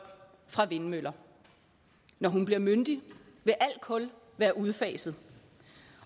fra vindmøller når hun bliver myndig vil al kul være udfaset